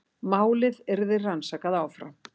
Málið yrði rannsakað áfram